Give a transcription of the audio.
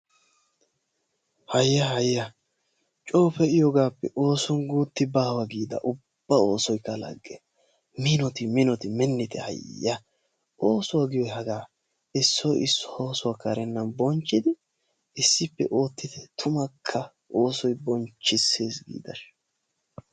Hayya hayya coo pee"iyoogaappe ooson guutti ba giida ubba oosoykka lagge minoti minoti minnite hayya oosuwa giyoyi hagaa issoyi issuwa oisuwa karennan bonchchidi issippe oottite tumukka oosoyi giidashin.